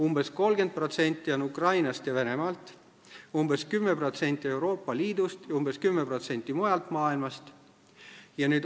Umbes 30% on Ukrainast ja Venemaalt, umbes 10% Euroopa Liidust ning umbes 10% mujalt maailmast.